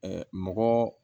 mɔgɔ